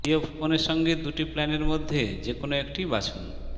জিওফোনের সঙ্গে দুটি প্ল্যানের মধ্যে যে কোন একটি বাছুন